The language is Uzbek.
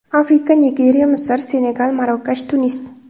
Afrika: Nigeriya, Misr, Senegal, Marokash, Tunis.